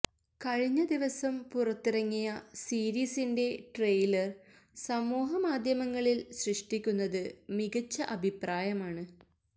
കഴിഞ്ഞ ദിവസം പുറത്തിറങ്ങിയ സീരീസിന്റെ ട്രെയിലർ സമൂഹ മാധ്യമങ്ങളിൽ സൃഷ്ടിക്കുന്നത് മികച്ച അഭിപ്രായമാണ്